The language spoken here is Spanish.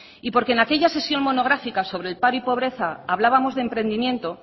y porque en aquella sesión monográfica sobre el paro y pobreza hablábamos de emprendimiento